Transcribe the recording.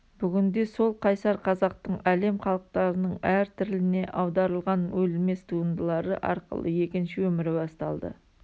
бүгінде сол қайсар қазақтың әлем халықтарының әр тіліне аударылған өлмес туындылары арқылы екінші өмірі басталды